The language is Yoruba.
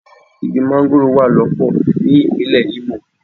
Igi mángóròò wà lọ́pọ̀ ní ìpínlè Imo.